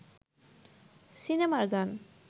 সিনেমার গান